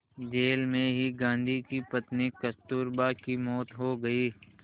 jail में ही गांधी की पत्नी कस्तूरबा की मौत हो गई